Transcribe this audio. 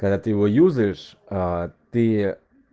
когда ты его юзаешь ты